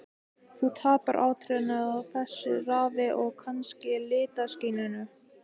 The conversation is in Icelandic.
Þú tapar áttum á þessu ráfi, og kannski litaskynjun.